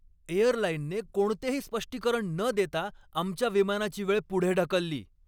एअरलाइनने कोणतेही स्पष्टीकरण न देता आमच्या विमानाची वेळ पुढे ढकलली.